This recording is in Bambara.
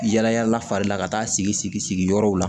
Yala yala fari la ka taa sigi sigi yɔrɔw la